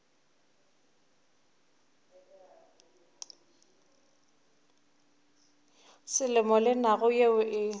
selemo le naga yeo e